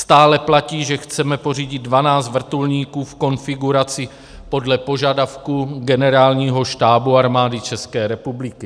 Stále platí, že chceme pořídit 12 vrtulníků v konfiguraci podle požadavků Generálního štábu Armády České republiky.